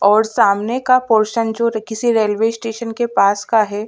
और सामने का पोरसन जो किसी रेलवे स्टेशन के पास का है ।